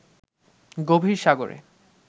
গভীর সাগরে